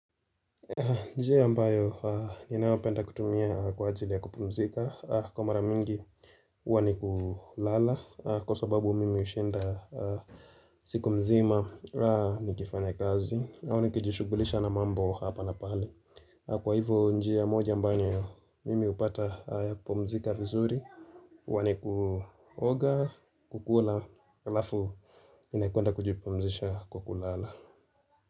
Njia ambayo ninayopenda kutumia kwa ajili ya kupumzika Kwa mara mingi huwa ni kulala kwa sababu mimi hushinda siku mzima nikifanya kazi. Nayo nikijishughulisha na mambo hapa na pale. Kwa hivyo njia moja ambayo mimi hupata ya kupumzika vizuri. Huwa ni kuoga, kukula, halafu ninakwenda kujipumzisha kwa kulala.